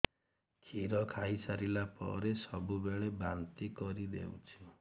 କ୍ଷୀର ଖାଇସାରିଲା ପରେ ସବୁବେଳେ ବାନ୍ତି କରିଦେଉଛି